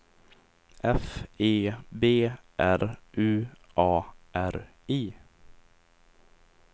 F E B R U A R I